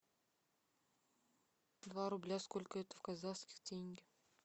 два рубля сколько это в казахских тенге